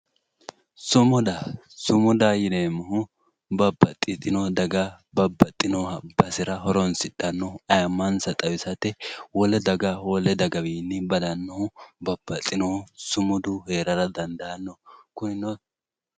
Sumuda sumudaho yineemmohu ,babbaxitino daga babbaxinoha xawisate horonsidhanoha ayemansa xawisate wole daga wole dagawinni badanohu babbaxinohu sumudu heerara dandaano kunino.